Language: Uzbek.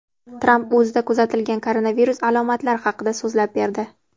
Tramp o‘zida kuzatilgan koronavirus alomatlari haqida so‘zlab berdi.